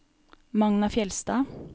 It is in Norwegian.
Magna Fjeldstad